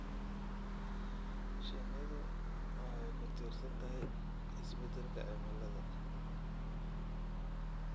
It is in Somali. Shinnidu waxay ku tiirsan tahay isbeddelka cimilada.